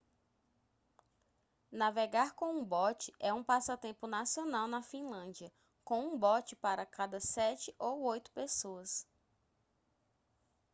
navegar com um bote é um passatempo nacional na finlândia com um bote para cada sete ou oito pessoas